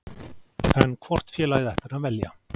En hvort félagið ætti hann að velja?